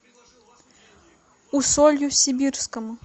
усолью сибирскому